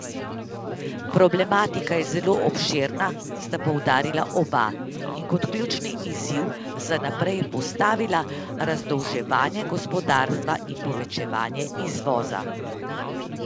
Problematika je zelo obširna, sta poudarila oba in kot ključni izziv za naprej postavila razdolževanje gospodarstva in povečevanje izvoza.